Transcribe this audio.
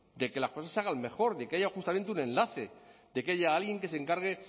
de que las cosas se hagan mejor de que haya justamente un enlace de que haya alguien que se encargue